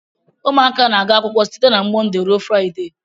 Ụmụaka na-aga akwụkwọ site na Mọnde ruo Fraịde.